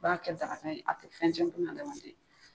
A b'a kɛ daraka ye a tɛ fɛn tiɲɛ buna adamaden ye.